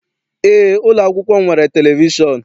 Eé, ụlọakwụkwọ m nwere televishọn.